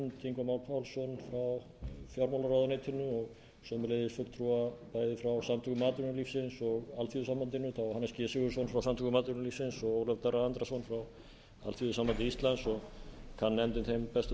má pálsson frá fjármálaráðuneytinu og sömuleiðis fulltrúa bæði frá samtökum atvinnulífsins og alþýðusambandinu það var hannes g sigurðsson frá samtökum atvinnulífsins og ólafur darri andrason frá alþýðusambandi íslands og kann nefndin þeim bestu þakkir fyrir að